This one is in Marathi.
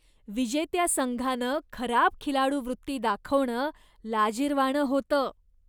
विजेत्या संघानं खराब खिलाडूवृत्ती दाखवणं लाजिरवाणं होतं.